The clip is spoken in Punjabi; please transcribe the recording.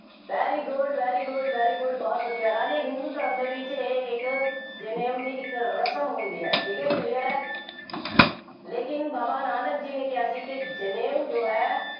very good, very good, very good ਬਹੁਤ ਵਧੀਆ ਰਾਜੇ ਹਿੰਦੂ ਧਰਮ ਦੇ ਵਿੱਚ ਇਹ ਇੱਕ ਜਨੇਊ ਦੀ ਇੱਕ ਰਸਮ ਹੁੰਦੀ ਹੈ, ਠੀਕ ਹੈ, clear ਹੈ, ਲੇਕਿਨ ਬਾਬਾ ਨਾਨਕ ਜੀ ਨੇ ਕਿਹਾ ਸੀ ਕਿ ਜਨੇਊ ਜੋ ਹੈ,